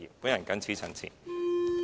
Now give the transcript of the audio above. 我謹此陳辭。